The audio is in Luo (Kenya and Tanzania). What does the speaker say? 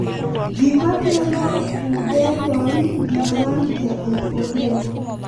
Gima kelo pudendal neuralgia ok ong'ere.